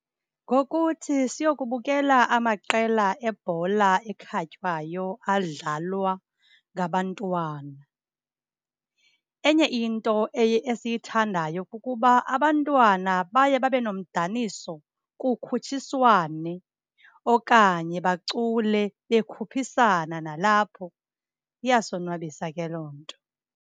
Ngokuthi siyokubukela amaqela ebhola ekhatywayo adlalwa ngabantwana. Enye into esiyithandayo kukuba abantwana baye babe nomdaniso, kukhutshiswane. Okanye bacule, bekhuphisana nalapho. Iyasonwabisa ke loo nto.